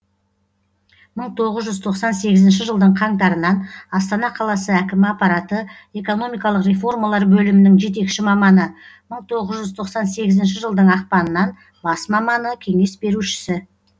мың тоғыз жүз тоқсан сегізінші жылдың қаңтарынан астана қаласы әкімі аппараты экономикалық реформалар бөлімінің жетекші маманы мың тоғыз жүз тоқсан сегізінші жылдың ақпанынан бас маманы кеңес берушісі